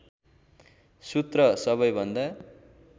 सूत्र सबैभन्दा